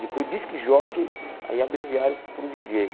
Depois disc jockey, aí abreviaram para o díi djêi.